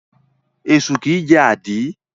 Esu kìí jẹ́ àdí.